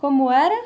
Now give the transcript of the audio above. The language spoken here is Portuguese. Como era?